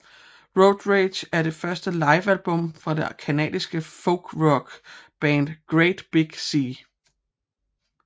Road Rage er det første livealbum fra det canadiske folkrockband Great Big Sea